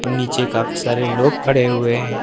नीचे काफी सारे लोग खड़े हुए हैं।